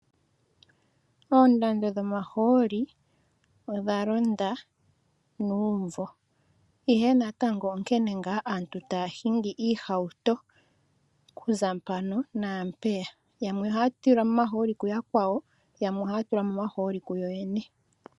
Oondando dhomaholi odha londa numvo, ihe natango onkene nga aantu taya hingi iihouto, oku za pano napeya, yamwe ohatu lilwa mo omaholi kuyakwawo yamwe ohays tula mo omaholi kuyoyene.